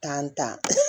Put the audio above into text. an ta